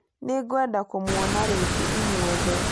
Nĩ ngwenda kũmuona rĩngĩ inyuothe